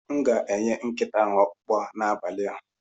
M ga-enye nkịta ahụ ọkpụkpụ ahụ n'abalị a.